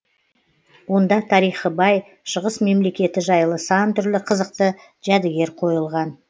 онда тарихы бай шығыс мемлекеті жайлы сан түрлі қызықты жәдігер қойылған